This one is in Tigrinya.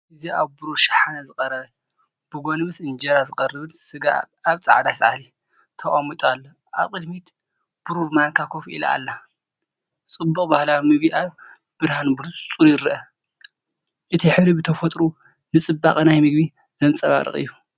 እዚ ኣብ ብሩር ሸሓነ ዝተቀረበ ብጎኒ ምስ እንጀራ ዝቐርብን ስጋ ኣብ ጻዕዳ ጻሕሊ ተቐሚጡ ኣሎ። ኣብ ቅድሚት ብሩር ማንካ ኮፍ ኢላ ኣላ። ጽባቐ ባህላዊ ምግቢ ኣብ ብርሃን ብንጹር ይርአ። እቲ ሕብሪ ብተፈጥሮኡ ንጽባቐ ናይቲ መግቢ ዘንጸባርቕ እዩ።